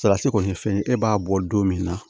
Salati kɔni ye fɛn ye e b'a bɔ don min na